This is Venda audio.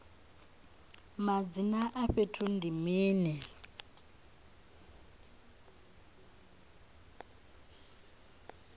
madzina a fhethu ndi mini